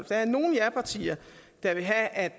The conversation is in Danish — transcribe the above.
der er nogle japartier der vil have at